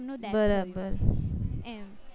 બરાબર